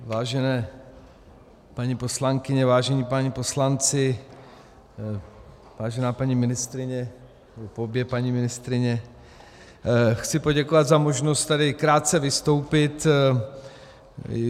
Vážené paní poslankyně, vážení páni poslanci, vážená paní ministryně, obě paní ministryně, chci poděkovat za možnost tady krátce vystoupit.